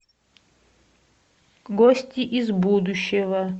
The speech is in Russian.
гости из будущего